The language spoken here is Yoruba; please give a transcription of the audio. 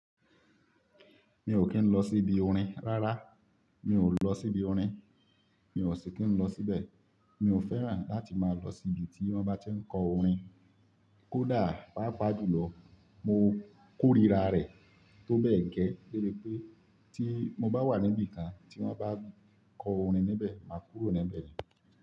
Mi ò kín lọ síbi orin rárá, mi ò lọ síbi orin, mi ò sì kín lọ síbẹ̀. Mi ò fẹ́ràn láti máa lọ sí ibi tí wọ́n bá ti ń kọ orin. Kódà, pàápàá jùlọ, mo kórira rẹ̀ tó bẹ́ẹ̀ gẹ́ léé pé tí mo bá wà níbi kan tí wọ́n bá kọ orin níbẹ̀, máa kúrò níbẹ̀ ni.